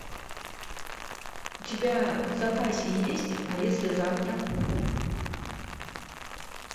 у тебя в запасе есть а если завтра